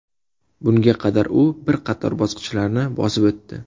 Bunga qadar u bir qator bosqichlarni bosib o‘tdi.